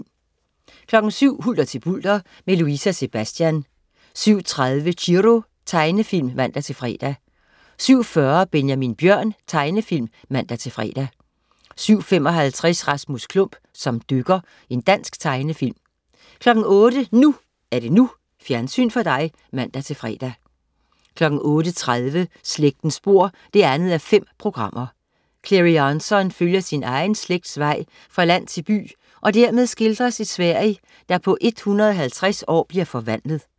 07.00 Hulter til bulter, med Louise og Sebastian 07.30 Chiro. Tegnefilm (man-fre) 07.40 Benjamin Bjørn. Tegnefilm (man-fre) 07.55 Rasmus Klump som dykker. Dansk tegnefilm 08.00 NU er det NU. Fjernsyn for dig (man-fre) 08.30 Slægtens spor 2:5 Clary Jansson følger sin egen slægts vej fra land til by og dermed skildrer et Sverige, der på 150 år bliver forvandlet